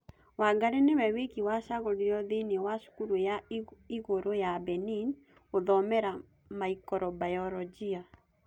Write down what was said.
Wangari nĩwe wiki wacagũriruo thĩinĩ wa cukuru yo igũrũ ya Benini gũthomera maikrobayorojia